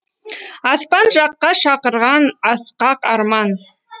аспан жаққа шақырған асқақ арман